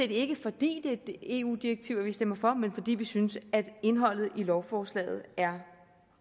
ikke fordi det et eu direktiv vi stemmer for men fordi vi synes at indholdet i lovforslaget er